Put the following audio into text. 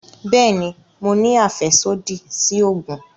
Bẹẹni, Mo ní afẹsodi si oogun